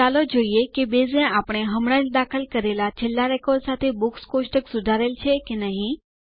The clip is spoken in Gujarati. ચાલો જોઈએ કે બેઝ એ આપણે હમણાં જ દાખલ કરેલ છેલ્લા રેકોર્ડ સાથે બુક્સ કોષ્ટક સુધારેલ છે કે નહિ